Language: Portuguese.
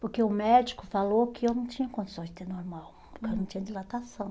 Porque o médico falou que eu não tinha condições de ter normal, porque eu não tinha dilatação.